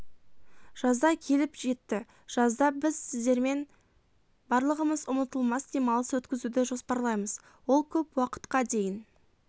жазда келіп жетті жазда біз сіздермен барлығымыз ұмытылмас демалыс өткізуді жоспарлаймыз ол көп уақытқа дейін